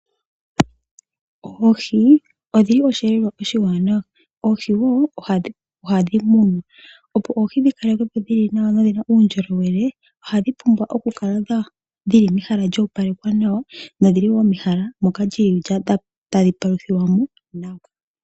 Oohi odhili osheelelwa oshiwanawa, oohi wo ohadhi munwa, opo oohi dhi kale kwepo dhili nawa nodhina uundjolowele, ohadhi pumbwa oku kala dhili mehala lya opalekwa nawa moka dhili tadhi paluthilwa mo nawa.